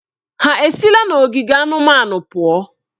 Ha esila n'ogige anụmanụ pụọ?